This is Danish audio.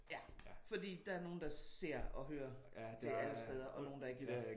Ja. Fordi der er nogen der ser og hører det alle steder og nogen der ikke rigtig gør